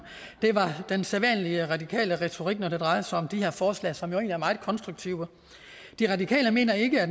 det var den sædvanlige radikale retorik når det drejer sig om de her forslag som jo egentlig er meget konstruktive de radikale mener ikke at